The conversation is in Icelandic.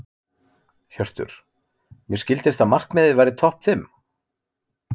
Hjörtur: Mér skildist að markmiðið væri topp fimm?